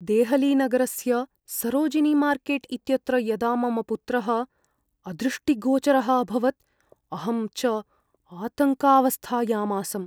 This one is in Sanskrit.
देहलीनगरस्य सरोजिनीमार्केट् इत्यत्र यदा मम पुत्रः अदृष्टिगोचरः अभवत्, अहं च आतङ्कावस्थायाम् आसम्।